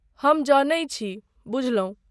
हम जनै छी, बुझलौं ?